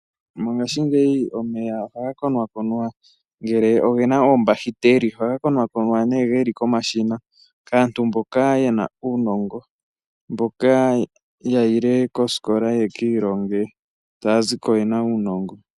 Mongaashingeyi omeya oha konakonwa ngele ogena koombahiteli. Ohaga konakonwa nee geli komashina kaantu mboka yena uunongo mboka yayile koosikola ye ki ilonge taya ziko yena uunongo.